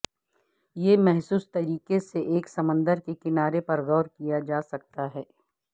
یہ محفوظ طریقے سے ایک سمندر کے کنارے پر غور کیا جا سکتا ہے